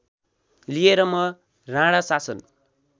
लिएर म राणाशासन